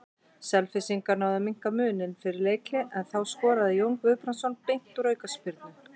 Selfyssingar náðu að minnka muninn fyrir leikhlé en þá skoraði Jón Guðbrandsson beint úr aukaspyrnu.